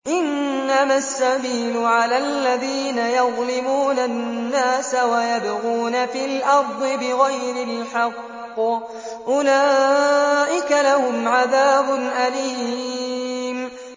إِنَّمَا السَّبِيلُ عَلَى الَّذِينَ يَظْلِمُونَ النَّاسَ وَيَبْغُونَ فِي الْأَرْضِ بِغَيْرِ الْحَقِّ ۚ أُولَٰئِكَ لَهُمْ عَذَابٌ أَلِيمٌ